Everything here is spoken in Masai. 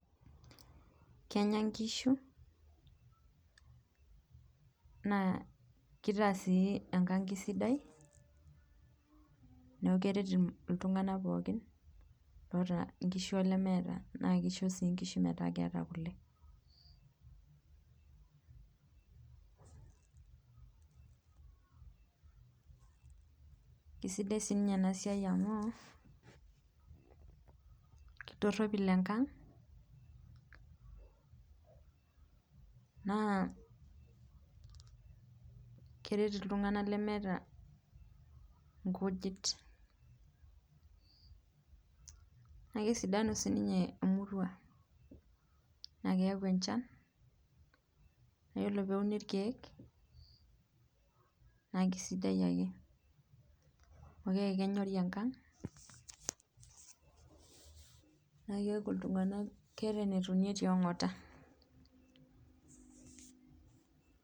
Kenya nkishu naa kitaa si enkang esidai neaku keret ltunganak pookin oota nkishu olemeeta, na kisho nkishu metaakeeta kule, sadai enasiai amu kitoropil enkang naa keret ltunganak lemeeta nkujit na kesidanu sinye emurua na keyau enchan, ore peuni rkiek nakesidai nai na kenyori enkang na keeta enetonie teangata.